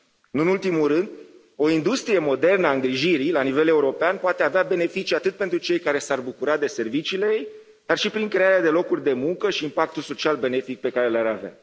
Nu în ultimul rând, o industrie modernă a îngrijirii la nivel european poate avea beneficii atât pentru cei care s ar bucura de serviciile ei, dar și prin crearea de locuri de muncă și impactul social benefic pe care l ar avea.